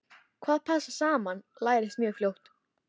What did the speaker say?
Hvað passar saman lærist mjög fljótt.